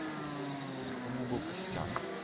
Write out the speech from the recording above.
по моему был костян